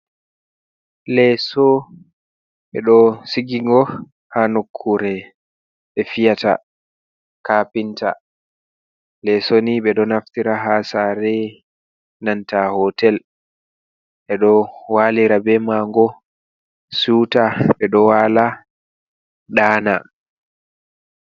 Leeso ɓe ɗo sigingo haa nokkure ɓe fiyata kapinta. Leeso nii ɓe ɗo naftira ha sare, nanta hotel. Ɓe ɗo walira be ma ngo suta, ɓe ɗo wala ɗana.